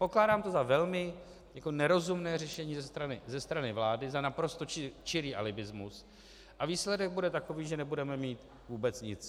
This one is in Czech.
Pokládám to za velmi nerozumné řešení ze strany vlády, za naprosto čirý alibismus, a výsledek bude takový, že nebudeme mít vůbec nic.